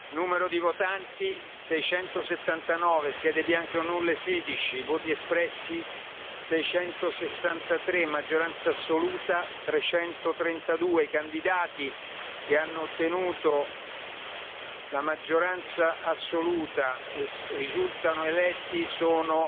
numero di votanti 679 schede bianche o nulle 16 voti espressi 663 maggioranza assoluta 332 I candidati che hanno ottenuto la maggioranza assoluta e risultano eletti sono